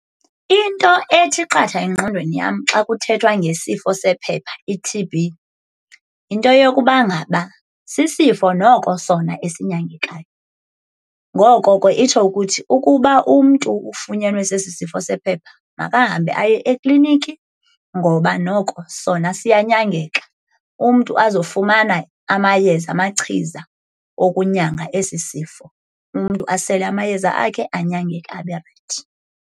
Into ethi qatha engqondweni yam xa kuthethwa ngesifo sephepha i-T_B yinto yokuba ngaba sisifo noko sona esinyangekayo. Ngoko ke, itsho ukuthi ukuba umntu ufunyenwe sesi sifo sephepha makahambe aye ekliniki ngoba noko sona siyanyangeka, umntu azofumana amayeza, amachiza okunyanga esi sifo. Umntu asele amayeza akhe anyangeke abe rayithi.